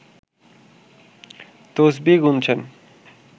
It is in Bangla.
তসবিহ গুনছেন